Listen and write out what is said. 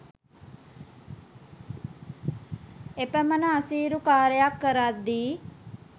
එපමන අසීරු කාරියක් කරද්දී